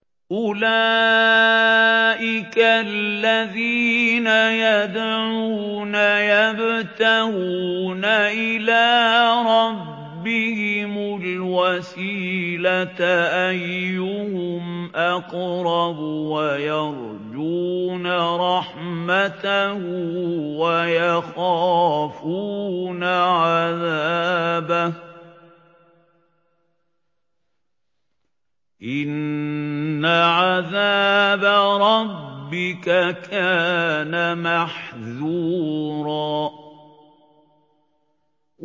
أُولَٰئِكَ الَّذِينَ يَدْعُونَ يَبْتَغُونَ إِلَىٰ رَبِّهِمُ الْوَسِيلَةَ أَيُّهُمْ أَقْرَبُ وَيَرْجُونَ رَحْمَتَهُ وَيَخَافُونَ عَذَابَهُ ۚ إِنَّ عَذَابَ رَبِّكَ كَانَ مَحْذُورًا